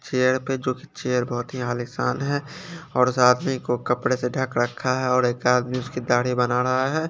Chair पे जो की चेयर बहुत ही आलिशान है और साथ में इनको कपडे से ढक रखा है और एक आदमी उसकी दाढ़ी बना रहा है ।